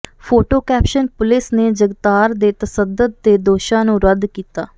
photo caption police ਨੇ ਜਗਤਾਰ ਦੇ ਤਸ਼ੱਦਦ ਦੇ ਦੋਸ਼ਾਂ ਨੂੰ ਰੱਦ ਕੀਤਾ